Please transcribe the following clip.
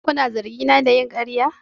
Shin kuna zargina da yin ƙarya?